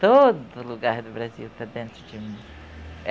Todo lugar do Brasil está dentro de mim.